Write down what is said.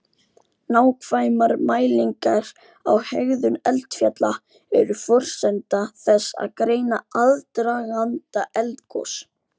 Nákvæmar mælingar á hegðun eldfjalla eru forsenda þess að greina aðdraganda eldgos.